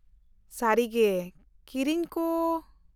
-ᱥᱟᱹᱨᱤᱜᱮ ? ᱠᱤᱨᱤᱧ ᱠᱚ ?